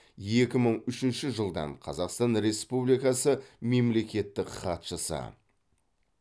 екі мың үшінші жылдан қазақстан республикасы мемлекеттік хатшысы